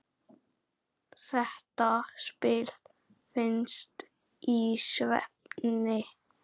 Þetta spil vinnst í svefni.